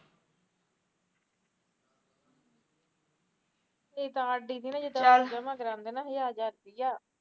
ਮੇਰੀ ਤਾ R D ਤੀਨਾ ਜਿਦਾ ਆਪਾ ਜਮਾ ਕਰਾਂਦੇ ਹਜਾਰ ਹਜਾਰ ਰੁਪੀਆਂ